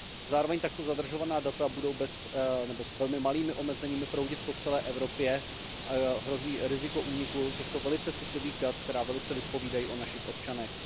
Zároveň takto zadržovaná data budou s velmi malými omezeními proudit po celé Evropě, hrozí riziko úniku těchto velice citlivých dat, která velice vypovídají o našich občanech.